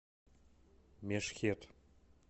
мешхед